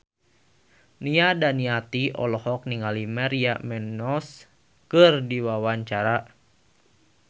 Nia Daniati olohok ningali Maria Menounos keur diwawancara